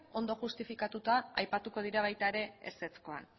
ondo justifikatuta aipatuko dira baita ere ezezkoan